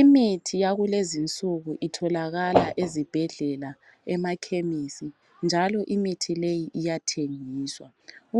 Imithi yakulezi nsuku itholakala ezibhedlela emaKhemisi njalo imithi le iyathengiswa,